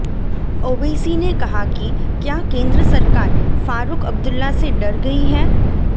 ओवैसी ने कहा कि क्या केंद्र सरकार फारूक अब्दुल्ला से डर गई है